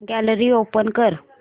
gallery open कर